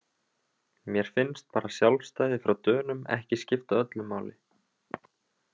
Mér finnst bara sjálfstæði frá Dönum ekki skipta öllu máli